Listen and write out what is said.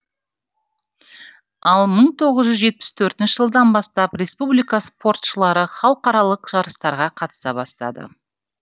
ал мың тоғыз жүз жетпіс төртінші жылдан бастап республика спортшылары халықаралық жарыстарға қатыса бастады